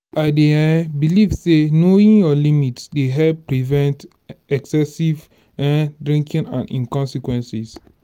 i dey um believe say knowing your limit dey help prevent excessive um drinking and im consequences.